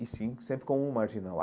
e, sim, sempre como um marginal.